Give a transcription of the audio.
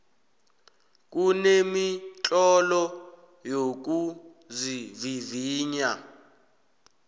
kunemitlolo yokuzivivinya